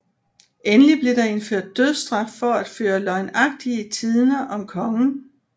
Endelig blev der indført dødsstraf for at føre løgnagtige tidender om kongen